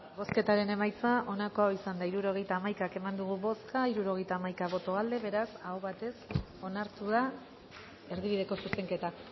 bozketaren emaitza onako izan da hirurogeita hamaika eman dugu bozka hirurogeita hamaika boto aldekoa beraz aho batez onartu da erdibideko zuzenketa